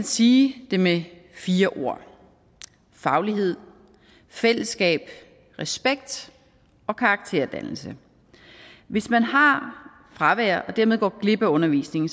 sige det med fire ord faglighed fællesskab respekt og karakterdannelse hvis man har fravær og dermed går glip af undervisningen